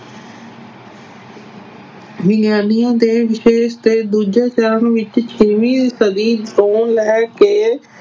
ਵਿਗਿਆਨੀਆਂ ਦੇ ਵਿਸ਼ੇਸ਼ ਤੇ ਦੂਜੇ ਚਰਨ ਵਿੱਚ ਛੇਵੀਂ ਸਦੀ ਤੋਂ ਲੈ ਕੇ